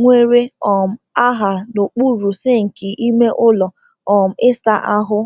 nwere um aha n’okpuru sinki ime ụlọ um ịsa ahụ.